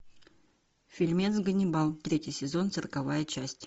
фильмец ганнибал третий сезон сороковая часть